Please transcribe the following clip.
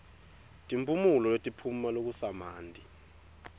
timphumulo letiphuma lokusamanti